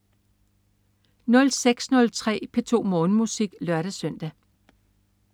06.03 P2 Morgenmusik (lør-søn)